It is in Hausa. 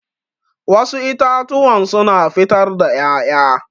Wassu itatuwan suna fitar da ƴaƴa